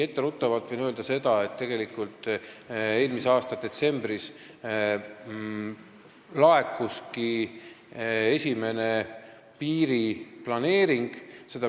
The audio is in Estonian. Etteruttavalt võin öelda, et eelmise aasta detsembris laekuski esimene piiriplaneering.